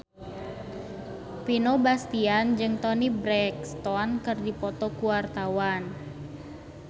Vino Bastian jeung Toni Brexton keur dipoto ku wartawan